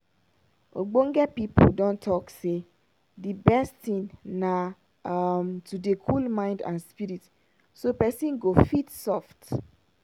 ogbonge pipo don talk say d best tin na um to dey cool mind and spirit so pesin life go fit soft.